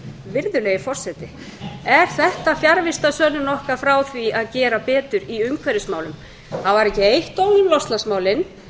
virðulegi forseti er þetta fjarvistarsönnun okkar frá því að gera betur í umhverfismálum það var ekki eitt orð um loftslagsmálin